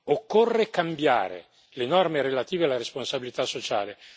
Occorre cambiare le norme relative alla responsabilità sociale.